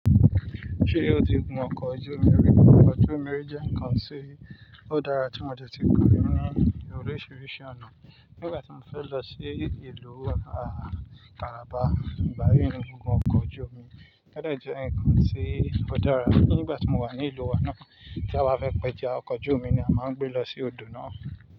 Ṣé ó ti gun ọkọ̀ ojú omi rí? Ọkọ̀ ojú omi jẹ́ ǹkan tí ó dára tí mo dẹ̀ ti gun rí ní oríṣiríṣi ọ̀nà. Nígbà tí mo fẹ́ lọ sí ìlú, ààh, Calabar, ìgbà yiií ni mo gun ọkọ̀ ojú omi. Ó dà jẹ ǹkan tí ó dára. Nígbà tí mo wà ní ìlú wa náà, tí a bá fẹ́ péja, ọkọ̀ ojú omi ni a máà ń gbé lọ sí odò náà.